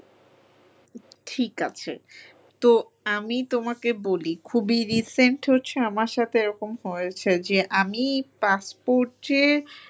ঠিক আছে তো আমি তোমাকে বলি খুবই recent আমার সাথে এরকম হয়েছে যে আমি passport এর